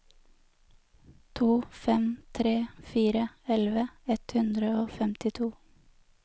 to fem tre fire elleve ett hundre og femtito